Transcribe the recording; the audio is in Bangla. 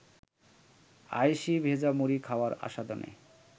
আয়েশি ভেজা মুড়ি খাওয়ার আস্বাদনে